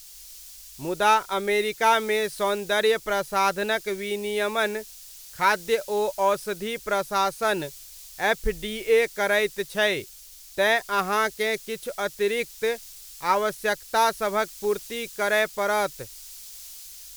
मुदा अमेरिकामे सौन्दर्य प्रसाधनक विनियमन खाद्य ओ औषधि प्रशासन, एफ.डी.ए. करैत छै तेँ अहाँकेँ किछु अतिरिक्त आवश्यकतासभक पूर्ति करय पड़त।